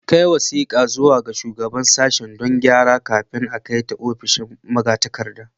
A kai wasiƙar zuwa ga Shugaban Sashen don gyara kafin kai ta ofishin magatakarda.